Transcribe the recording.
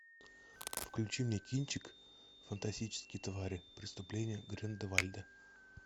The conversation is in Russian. включи мне кинчик фантастические твари преступления грин де вальда